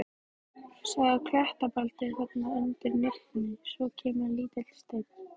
Sjáðu klettabeltið þarna undir nibbunni, svo kemur lítill steinn.